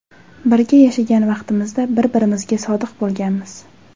Birga yashagan vaqtimizda bir birimizga sodiq bo‘lganmiz.